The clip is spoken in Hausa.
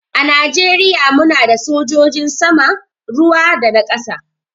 A najeriya mu na da sojin sama, ruwa da na ƙasa.